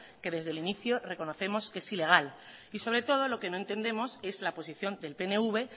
que desde el inicio reconocemos que es ilega y sobre todo lo que no entendemos es la posición del pnv